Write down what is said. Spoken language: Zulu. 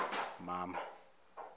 mama